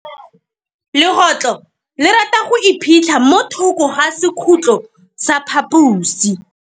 Legôtlô le rata go iphitlha mo thokô ga sekhutlo sa phaposi.